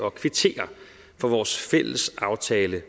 at kvittere for vores fælles aftale